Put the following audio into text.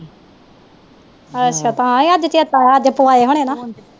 ਅੱਛਾ ਤਾ ਈ ਅੱਜ ਚੇਤਾ ਆਇਆ ਅੱਜ ਪਵਾਏ ਹੋਣੇ ਨਾ।